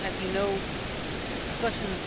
As you know, discussions